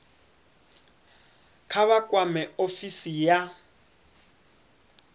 kha vha kwame ofisi ya